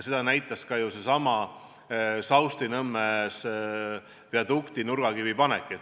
Seda näitas ju ka seesama Saustinõmme viadukti nurgakivi panek.